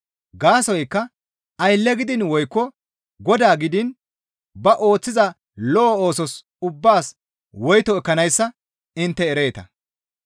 Gaasoykka aylle gidiin woykko godaa gidiin ba ooththiza lo7o oosos ubbaas woyto ekkanayssa intte ereeta.